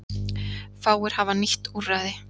Fáir hafa nýtt úrræði